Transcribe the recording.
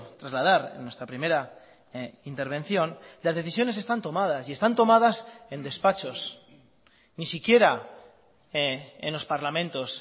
trasladar en nuestra primera intervención las decisiones están tomadas y están tomadas en despachos ni siquiera en los parlamentos